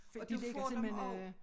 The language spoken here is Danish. Og du får dem også